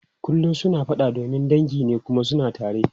Kullum suna fada domin dangi ne kuma suna tare.